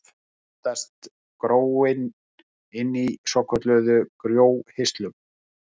Þá myndast gróin inni í svokölluðum gróhirslum.